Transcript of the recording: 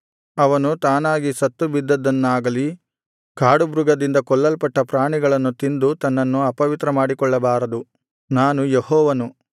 ಅವನು ತಾನಾಗಿ ಸತ್ತುಬಿದ್ದದ್ದನ್ನಾಗಲಿ ಕಾಡುಮೃಗದಿಂದ ಕೊಲ್ಲಲ್ಪಟ್ಟ ಪ್ರಾಣಿಗಳನ್ನು ತಿಂದು ತನ್ನನ್ನು ಅಪವಿತ್ರಮಾಡಿಕೊಳ್ಳಬಾರದು ನಾನು ಯೆಹೋವನು